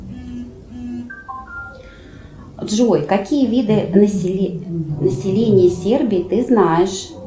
джой какие виды населения сербии ты знаешь